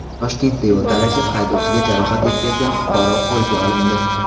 Toshkentda yo‘l talashib, haydovchiga jarohat yetkazgan fuqaro qo‘lga olindi.